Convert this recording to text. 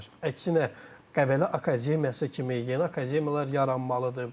Əksinə, Qəbələ akademiyası kimi yeni akademiyalar yaranmalıdır.